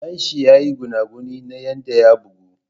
Dan shi ya yi gunaguni na yadda ya bugu.